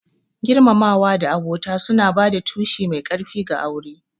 Girmamawa da abota suna ba da tushe mai ƙarfi ga aure.